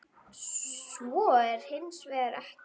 Svo er hins vegar ekki.